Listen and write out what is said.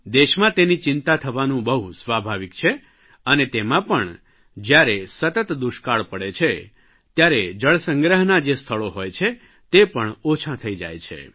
દેશમાં તેની ચિંતા થવાનું બહુ સ્વાભાવિક છે અને તેમાં પણ જયારે સતત દુષ્કાળ પડે છે ત્યારે જળસંગ્રહનાં જે સ્થળો હોય છે તે પણ ઓછાં થઇ જાય છે